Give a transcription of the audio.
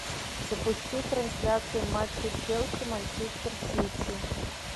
запусти трансляцию матча челси манчестер сити